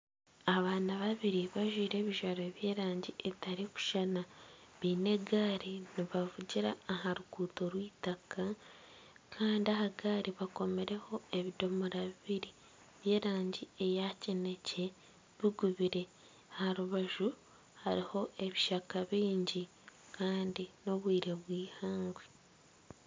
Abaana babiri bajwire ebijwaro by'erangi etarikushushana, baine egaari nibavugira aha ruguuto rw'eitaka kandi aha gaari bakomireho ebidomora bibiri by'erangi eya kineekye bigubire aha rubaju hariho ebishaka bingi kandi n'obwire bw'eihangwe